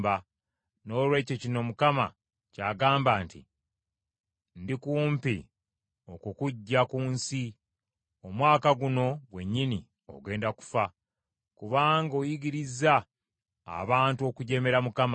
Noolwekyo kino Mukama kyagamba nti, ‘Ndikumpi okukuggya ku nsi. Omwaka guno gwennyini ogenda kufa, kubanga oyigirizza abantu okujeemera Mukama .’”